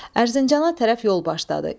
Ərzincana tərəf yol başladı.